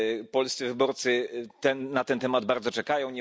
Polscy wyborcy na ten temat bardzo czekają.